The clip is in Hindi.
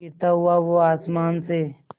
गिरता हुआ वो आसमां से